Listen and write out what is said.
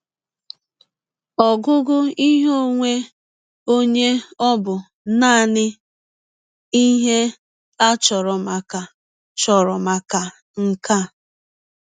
Ọgụgụ ihe ọnwe ọnye ọ̀ bụ nanị ihe a chọrọ maka chọrọ maka nke a?